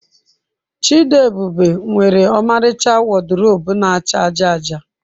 Chidiebube nwere ọmaricha wọdrobu na-acha aja aja.